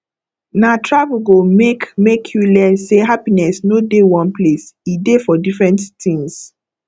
na travel go make make you learn say happiness no dey one place e dey for different things